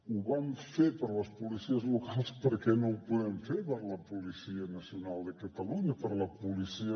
ho vam fer per a les policies locals per què no ho podem fer per a la policia nacional de catalunya per a la policia